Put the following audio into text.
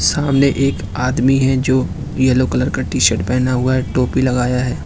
सामने एक आदमी है जो यलो कलर का टी शर्ट पहना हुआ है टोपी लगाया है।